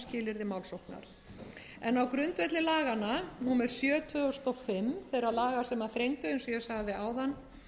skilyrði málsóknar á grundvelli laga númer sjö tvö þúsund og fimm þeirra laga sem þrengdu eins og ég sagði áðan